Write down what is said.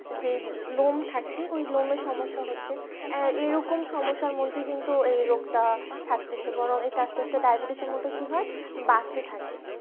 যে লোম থাকে ওই লোমের সমস্যা হচ্ছে এরকম সমস্যার মধ্যে কিন্তু এই রোগটা থাকতেছে বরং এটা এটা আস্তে আস্তে diabetes মতে কি হয় বাড়তে থাকে